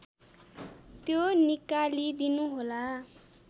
त्यो निकाली दिनुहोला